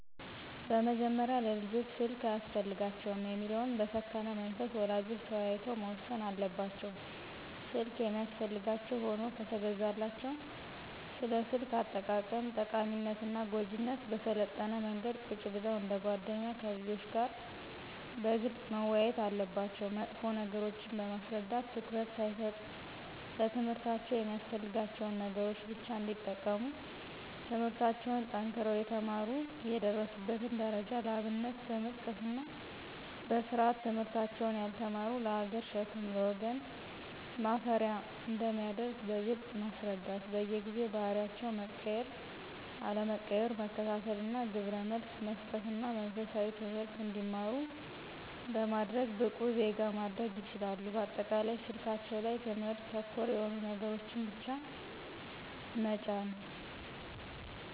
በመጀመሪያ ለልጆች ስልክ አያስፈልጋቸውም የሚለውን በሰከነ መንፈስ ወላጆች ተወያይተው መወሰን አለባቸው። ስልክ የሚያስፈልጋቸው ሁኖ ከተገዛላቸው ስለ ስልክ አጠቃቀም ጠቃሚነትና ጎጅነት በሰለጠነ መንገድ ቁጭ ብለው እንደ ጎደኛ ከልጆች ጋር በግልጽ መወያየት አለባቸው መጥፎ ነገሮችን በማስረዳት ትኩረት ሳይሰጡ ለትምህርታቸው የሚያስፈልጋቸውን ነገሮች ብቻ እንዲጠቀሙ ትምለህርታቸውን ጠንክረው የተማሩ የደረሱበትን ደረጃ ለአብነት በመጥቀስና በስርአት ትምህርታቸውን ያልተማሩት ለሀገር ሸክም ለወገን ማፈሪያ አንደሚያደርግ በግልጽ ማስረዳት በየጊዜው ባህሪያቸው መቀየር አለመቀየሩን መከታተልና ግብረመልስ መሰጠትና መንፈሳዊ ትምህርት እንዲማሩ በማድረግ ብቁ ዜጋ ማድረግ ይችላሉ። በአጠቃላይ ስልካቸው ላይ ትምህርት ተኮር የሆኑ ነገሮችን ብቻ መጫን